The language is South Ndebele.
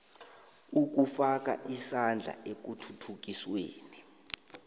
ukufaka isandla ekuthuthukisweni